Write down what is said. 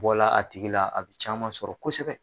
Bɔla a tigi la a bi caman sɔrɔ kosɛbɛ